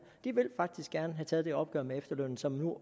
de vil faktisk gerne have taget det opgør med efterlønnen som nu